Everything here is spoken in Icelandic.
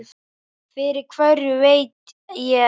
Fyrir hverju veit ég ekki.